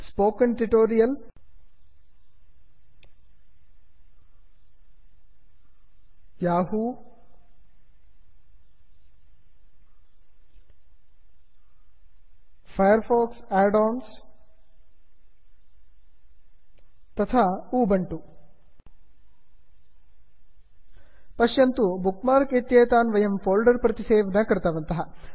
spoken tutorial spoken tutorial Yahoo Yahoo Firefox add ons Firefox add ons तथा Ubuntu Ubuntu पश्यन्तु bookmark इत्येतान् वयं folder प्रति save न कृतवन्तः